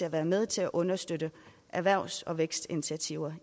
at være med til at understøtte erhvervs og vækstinitiativer